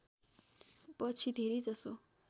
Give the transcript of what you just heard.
पछि धेरैजसो